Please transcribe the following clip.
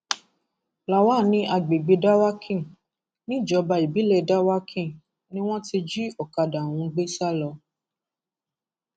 lawal ní agbègbè dawakin níjọba ìbílẹ dawakin ni wọn ti jí ọkadà ọhún gbé sá lọ